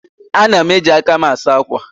Ana m eji aka m asa akwa.